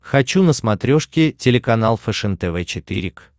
хочу на смотрешке телеканал фэшен тв четыре к